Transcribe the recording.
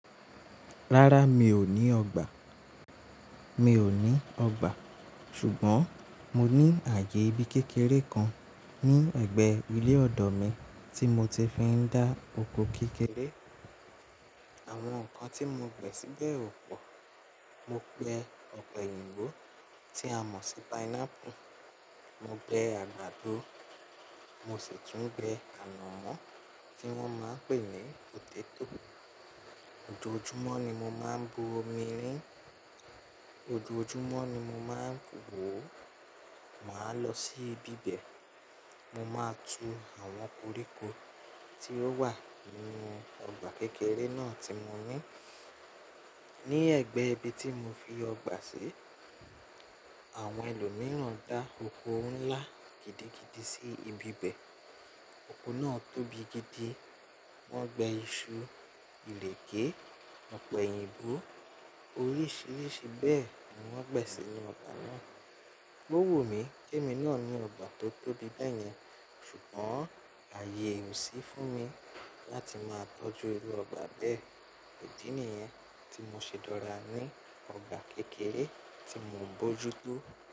Rárá, mi ò ní ọgbà. Mi ò ní ọgbà. Ṣùgbọ́n mo ní ààyè ibi kékeré kan ní ẹ̀gbẹ́ ilé ọ̀dọ̀ mi tí mo ti fi n dá oko kékeré. Àwọn nǹkan tí mo gbin síbẹ̀ ò pọ̀. Mo gbẹ ọ̀pẹ̀yìnbo tí a mọ̀ sí pineapple. Mo gbẹ àgbàdo. Mo sì tún gbẹ ànàmọ́ tí wọ́n máa n pè ní potato. Ojojúmọ́ ni mo máa n bu omi rín. Ojojúmọ́ ni mo máa n wò. Màá lọ sí ibi bẹ̀. Mo máa tú àwọn koríko tí ó wà nínú ọgbà kékeré náà tí mo ní. Ni ẹgbẹ ibi tí mo fi ọgbà sí, àwọn ẹlòmíràn dá oko ńlá gidigidi sí ibi bẹ̀. Oko náà tóbi gidi. Wọ́n gbe iṣu, ìlẹ̀kẹ̀, ọ̀pẹ̀yìnbo, oríṣiríṣi bẹ́ẹ̀ ni wọ́n gbẹ̀ sí inú ọgbà náà. Owunmi kí èmi náà ní ọgbà tó tóbi bẹ́ẹ̀ yẹn, ṣùgbọ́n ààyè ò sí fún mi láti máa tọ́jú inú ọgbà bẹ́ẹ̀. Idí nìyẹn tí mo ṣe dora ní ọgbà kékeré tí mò ń bojútó.